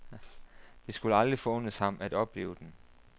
Det skulle aldrig forundes ham at opleve den.